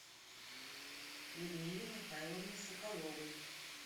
людмиле михайловне соколовой